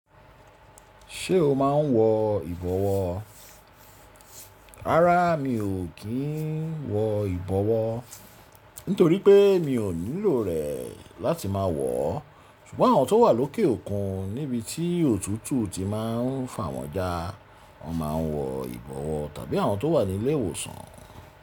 Ṣé o máa n wọ ìbọwọ́? Rárá mi ò kí n wọ ìbọwọ́ nítorí pé mi ò nílò rẹ̀ láti máa wọ̀ ọ́. Ṣùgbọ́n àwọn tó wà lókè òkun níbití òtútù ti máa n fà wọ́n ja, wọ́n máa n wọ ìbọwọ́ tàbí àwọn tó wà ní ilé ìwòsàn.